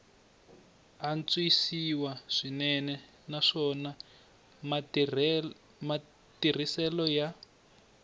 antswisiwa swinene naswona matirhiselo ya